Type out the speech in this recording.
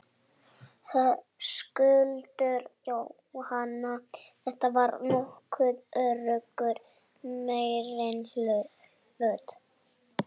Höskuldur: Jóhanna, þetta var nokkuð öruggur meirihluti?